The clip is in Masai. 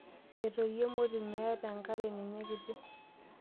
Etoyio emoti meeta enkare ninye kiti.